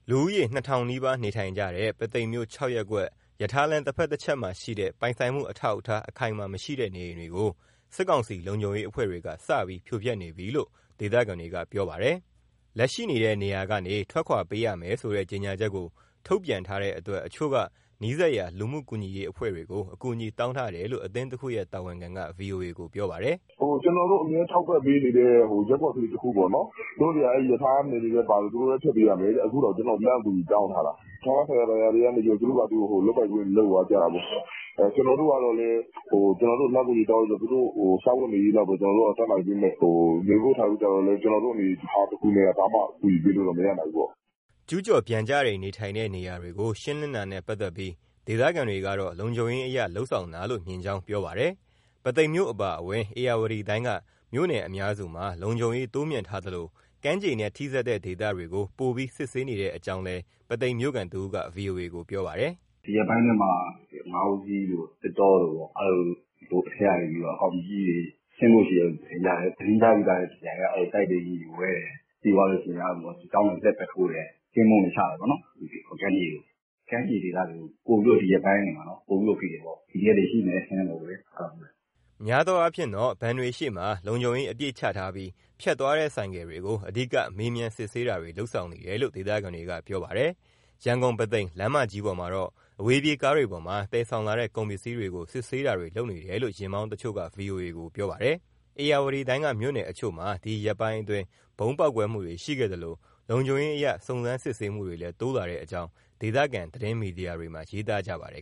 လူဦးရေ ၂,၀၀၀ နီးပါးနေထိုင်နေကြတဲ့ ပုသိမ်မြို့ ၆ ရပ်ကွက်၊ ရထားလမ်း တဖက်တချက်မှာရှိတဲ့ ပိုင်ဆိုင်မှု အထောက်အထား အခိုင်အမာမရှိတဲ့ နေအိမ်တွေကို စစ်ကောင်စီ လုံခြုံရေးအဖွဲ့တွေက ဒီကနေ့စပြီး ဖြိုဖျက်နေပြီလို့ ဒေသခံတွေက ပြောပါတယ်။ လက်ရှိနေတဲ့နေရာကနေ ထွက်ခွာပေးရမယ်ဆိုတဲ့ ကြေညာချက်ကို ထုတ်ပြန်ထားတဲ့အတွက် တချို့ကနီးစပ်ရာ လူမှုကူညီရေးအဖွဲ့တွေကို အကူအညီတောင်းထားတယ်လို့ အသင်းတခုရဲ့ တာဝန်ခံက ဗွီအိုအေကို ပြောပါတယ်။ " ကျနော်တို့ အမြဲထောက်ပံ့ပေးနေတဲ့ ရပ်ကွက်ကလေးတခုပေါ့နော်၊ သူတို့တွေက အဲဒီ ရထားနယ်မြေထဲပါလို့ သူတို့လည်းဖျက်ပေးရမယ်တဲ့ အခုတောင် ကျနော့ကို လှမ်းအကူအညီ တောင်းထားတာ၊ ဌာနဆိုင်ရာတွေကနေ သူတို့ဖာသာ လုပ်ပိုင်ခွင့်တွေနဲ့ လုပ်သွားကြတာပေါ့နော်။ ကျနော်တို့ကတော့လည်း ကျနော်တို့ကို လှမ်းအကူအညီတောင်းတော့ သူတို့စားဝတ်နေရေးလောက်ပဲ တတ်နိုင်ပေးမယ်၊ နေဖို့ထိုင်ဖို့ကျ ကျနော်တို့အနေအထားနဲ့ ဘာမှ အကူအညီပေးလို့ မရနိုင်ဘူးပေါ့။" ကျူးကျော်ပျံကျနေထိုင်တဲ့ နေရာတွေကို ရှင်းလင်းတာနဲ့ ပတ်သက်ပြီး ဒေသခံတွေကတော့ လုံခြုံရေးအရ လုပ်ဆောင်တာလို့ မြင်ကြောင်းပြောပါတယ်။ ပုသိမ်မြို့ အပါအဝင် ဧရာဝတီတိုင်းက မြို့နယ်အများစုမှာ လုံခြုံရေး တိုးမြှင့်ထားသလို ကမ်းခြေနဲ့ ထိစပ်တဲ့ ဒေသတွေကို ပိုပြီးစစ်ဆေးနေတဲ့အကြောင်းလည်း ပုသိမ်မြို့ခံတဦးက ဗွီအိုအေကို ပြောပါတယ်။ " ဒီရက်ပိုင်းထဲမှာ ငါးဦးစီးတို့၊ သစ်တောတို့ အဲဒီလို အထဲကနေ အကောင်ကြီးကြီးတွေ ဆင်းဖို့ရှိတယ်လို့ သတင်းကြားတယ်၊ သတင်းကြားပြီးတာနဲ့ တပြိုင်နက် တိုက်လေယာဉ်တွေဝဲတယ်၊ ပြီးသွားရင် စစ်ကြောင်းတွေ လှည့်ပတ်ထိုးတယ်၊ ကင်းပုန်းတွေ ချတယ်ပေါ့နော်။ ကမ်းခြေတွေ။ ကမ်းခြေဒေသတွေကို ဒီရက်ပိုင်းမှာ ပိုပြီးဖိတယ်၊ PDF တွေ ရှိနေတယ် အထင်နဲ့ပေါ့ဗျာ။" များသောအားဖြင့် ဘဏ်တွေရှေ့မှာ လုံခြုံရေး အပြည့်ချထားပြီး ဖြတ်သွားတဲ့ ဆိုင်ကယ်တွေကို အဓိက မေးမြန်းစစ်ဆေးတာတွေ လုပ်ဆောင်နေတယ်လို့ ဒေသခံတွေက ပြောပါတယ်။ ရန်ကုန်-ပုသိမ် လမ်းမကြီးပေါ်မှာတော့ အဝေးပြေးကားတွေပေါ်မှာ သယ်ဆောင်လာတဲ့ ကုန်ပစ္စည်းတွေကို စစ်ဆေးတွေ လုပ်နေတယ်လို့ ယာဉ်မောင်း တချို့က ဗွီအိုအေကို ပြောပါတယ်။ ဧရာဝတီတိုင်း မြို့နယ်တချို့မှာ ဒီရက်ပိုင်းအတွင်း ဗုံးပေါက်ကွဲမှုတွေရှိခဲ့သလို လုံခြုံရေးအရ စုံစမ်းစစ်ဆေးမှုတွေလည်း တိုးလာတဲ့အကြောင်း ဒေသ သတင်းမီဒီယာတွေမှာ ရေးသားကြပါတယ်